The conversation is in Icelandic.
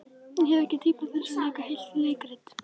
Ég hef ekki tíma til að leika heilt leikrit.